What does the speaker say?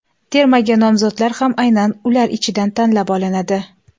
Termaga nomzodlar ham aynan ular ichidan tanlab olinadi.